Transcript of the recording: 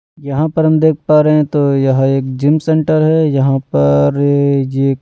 यहां पर हम देख पा रहे हैं तो यह एक जिम सेंटर है यहां पर एक--